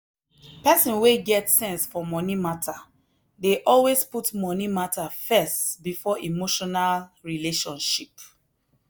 person wey get sense for money matter dey always put money matter first before emotional relationship.